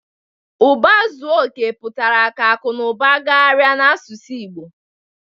Uba zuo oke putara ka aku na uba gagharia n'asusu igbo